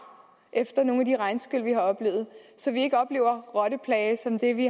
efter nogle af de regnskyl vi har oplevet så vi ikke oplever rotteplage som den vi